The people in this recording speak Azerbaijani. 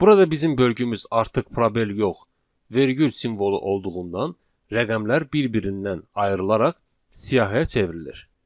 Burada bizim bölgümüz artıq probel yox, vergül simvolu olduğundan rəqəmlər bir-birindən ayrılaraq siyahıya çevrilir.